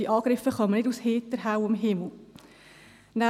Diese Angriffe kommen nicht aus heiterhellem Himmel.